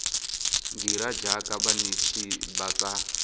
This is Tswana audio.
dira jaaka banetshi ba tsa